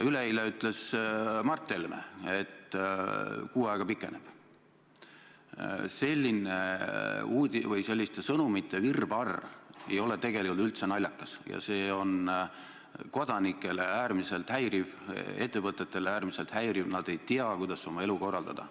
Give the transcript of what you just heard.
Selles valguses tahaksin ma küsida, kuidas te olete kavandanud oma tegevuses paindlikkust või muutumist, kui peaks juhtuma, et mittetulundusühingud ei saa rahanappuse tõttu või muudel põhjustel neid suuri strateegilisi tegevusi toetada.